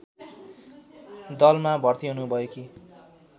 दलमा भर्ति हुनुभएकी